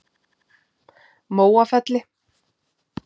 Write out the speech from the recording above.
Móafelli